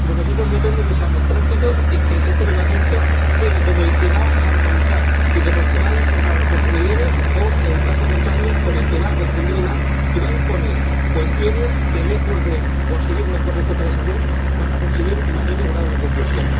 De nosotros depende que seamos prácticos y que este Reglamento quede como el que va a armonizar e informar a los consumidores o, en caso contrario, como el que va a confundir más y va a imponer cuestiones que, lejos de conseguir mejores cotas de salud, van a conseguir mayores grados de confusión.